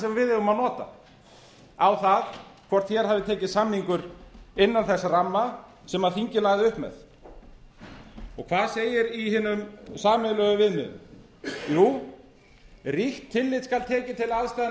sem við eigum að nota á það hvort hér hafi tekist samningur innan þess ramma sem þingið lagði upp með hvað segir í hinum sameiginlegu viðmiðum jú ríkt tillit skal tekið til aðstæðna